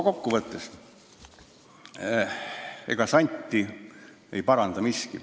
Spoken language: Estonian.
Kokkuvõtteks: ega santi ei paranda miski.